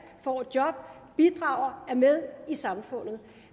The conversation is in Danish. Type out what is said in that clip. får et job bidrager og er med i samfundet